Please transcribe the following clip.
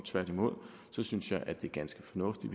tværtimod synes jeg at det er ganske fornuftigt